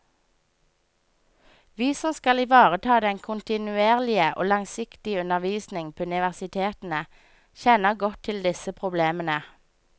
Vi som skal ivareta den kontinuerlige og langsiktige undervisning på universitetene, kjenner godt til disse problemene.